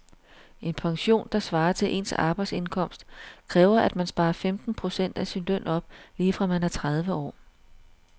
En pension, der svarer til ens arbejdsindkomst, kræver at man sparer femten procent af sin løn op lige fra man er tredive år.